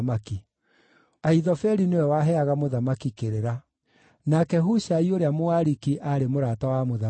Ahithofeli nĩwe waheaga mũthamaki kĩrĩra. Nake Hushai ũrĩa Mũariki aarĩ mũrata wa mũthamaki.